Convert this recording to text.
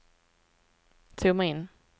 zooma in